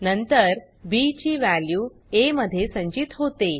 नंतर बी ची वॅल्यू आ मध्ये संचित होते